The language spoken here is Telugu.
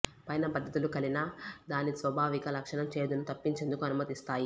పైన పద్ధతులు కలినా దాని స్వాభావిక లక్షణం చేదును తప్పించేందుకు అనుమతిస్తాయి